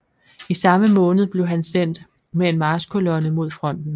I samme måned blev han sendt med en marchkolonne mod fronten